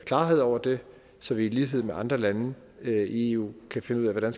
klarhed over det så vi i lighed med andre lande i eu kan finde ud af hvordan